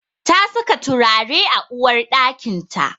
Ta saka turare a uwarɗakinta.